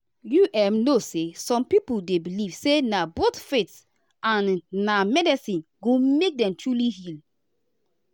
you um know say some people dey believe say na both faith and um medicine go make dem truly heal.